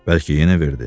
Bəlkə yenə verdi.